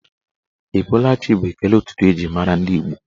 Ị bọọla chi bụ ekele ụtụtụ eji mara ndị Igbo